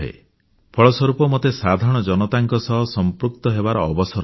ଫଳସ୍ୱରୂପ ମୋତେ ସାଧାରଣ ଜନତାଙ୍କ ସହ ସଂପୃକ୍ତ ହେବାର ଅବସର ମିଳେ